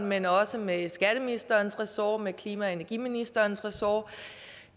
men også med skatteministerens og klima og energiministerens ressort